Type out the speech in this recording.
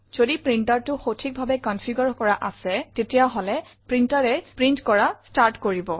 যদি printerটো সঠিকভাবে কনফিগাৰে কৰা আছে তেতিয়াহলে printerএ প্ৰিণ্ট কৰা ষ্টাৰ্ট কৰিব